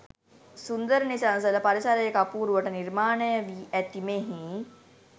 සුන්දර නිසංසල පරිසරයක අපූරුවට නිර්මාණයවී ඇති මෙහි